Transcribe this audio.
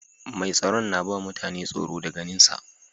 Mai tsaron na ba mutane tsoro da ganin sa.